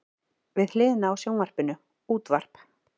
Við hliðina á sjónvarpinu útvarp.